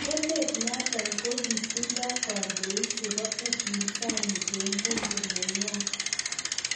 Emet notok kokitindii kondoik chebo upinzani eng bunge nenywaa